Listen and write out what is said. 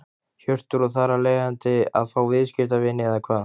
Hjörtur: Og þar af leiðandi að fá viðskiptavini eða hvað?